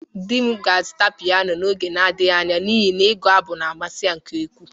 Di m ga-azụta piyano n'oge na-adaghi anya n'ihi na igu-abụ na-amasi ya nke ukwu.